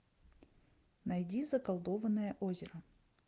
найди заколдованное озеро